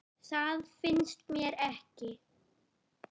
Það finnst mér ekki.